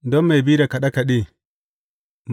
Don mai bi da kaɗe kaɗe.